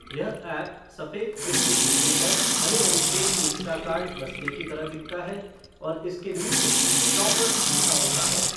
यह ऐप सफ़ेद पृष्ठभूमि पर हरे रंग के इंस्टाकार्ट बस्ते की तरह दिखता है और इसके नीचे "शॉपर" लिखा होता है।